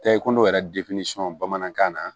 Taa i kɔnɔ yɛrɛ bamanankan na